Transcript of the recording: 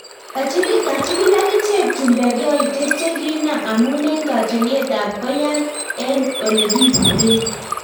Kachigili agicheg chumbeg yaityet chegiinam amun en katyolett ab koiyat en olegiburen